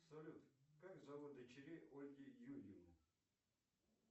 салют как зовут дочерей ольги юрьевны